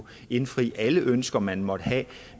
indfri alle ønsker man måtte have